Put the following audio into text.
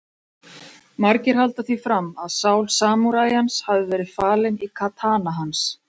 Margir halda því fram að sál samúræjans hafi verið falin í katana hans.